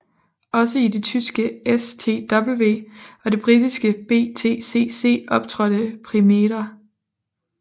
Også i det tyske STW og det britiske BTCC optrådte Primera